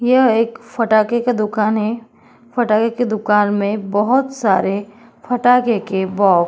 यह एक फटाके का दुकान है। फटाके के दुकान में बोहोत सारे फटाके के बो --